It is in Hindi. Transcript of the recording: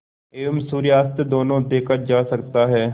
एवं सूर्यास्त दोनों देखा जा सकता है